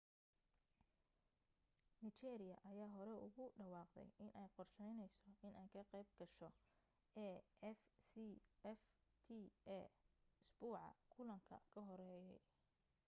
nigeria ayaa horey ugu dhawaaqday inay qorsheyneyso inay ka qayb gasho afcfta isbuuca kulanka ka horeeyey